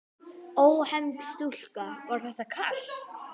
Ónefnd stúlka: Var þetta kalt?